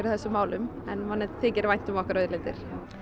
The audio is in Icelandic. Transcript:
þessum málum en manni þykir vænt um okkar auðlindir